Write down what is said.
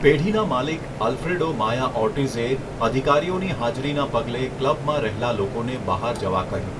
પેઢીના માલિક, Alfredo Maya ઓર્ટિઝે, અધિકારીઓની હાજરીના પગલે ક્લબમાં રહેલા લોકોને બહાર જવા કહ્યું.